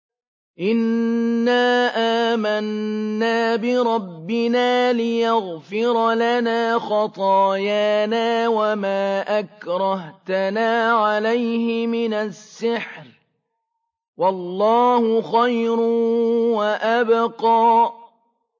إِنَّا آمَنَّا بِرَبِّنَا لِيَغْفِرَ لَنَا خَطَايَانَا وَمَا أَكْرَهْتَنَا عَلَيْهِ مِنَ السِّحْرِ ۗ وَاللَّهُ خَيْرٌ وَأَبْقَىٰ